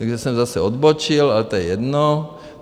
Takže jsem zase odbočil, ale to je jedno.